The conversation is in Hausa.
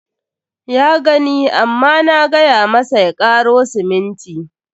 Ya gani amma na gay amasa ya karo siminti.